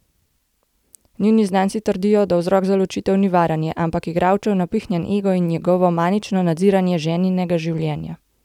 Njuni znanci trdijo, da vzrok za ločitev ni varanje, ampak igralčev napihnjen ego in njegovo manično nadziranje ženinega življenja.